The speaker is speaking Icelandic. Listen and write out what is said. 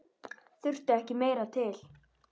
Þurfti ekki meira til.